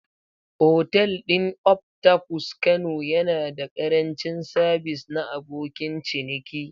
Otal ɗin Octopus kano yana da ƙarancin sabis na abokin ciniki.